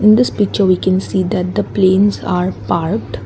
in this picture we can see that the Planes are parked.